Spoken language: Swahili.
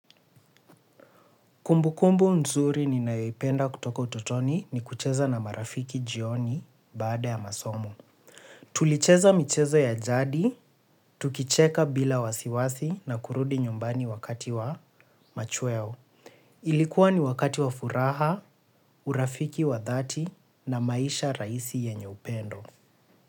Kumbukumbu nzuri ni nayoipenda kutoka utotoni ni kucheza na marafiki jioni baada ya masomo. Tulicheza michezo ya jadi, tukicheka bila wasiwasi na kurudi nyumbani wakati wa machweo. Ilikuwa ni wakati wa furaha, urafiki wa dhati na maisha rahisi yenye upendo.